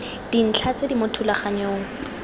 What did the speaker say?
dintlha tse di mo thulaganyong